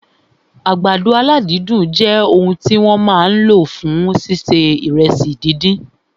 Àgbàdo aládídùn jẹ òun tí wọ́n máa lò fún ṣíṣe fried ìrẹsì